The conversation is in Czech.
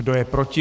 Kdo je proti?